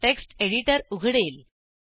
text editor उघडेल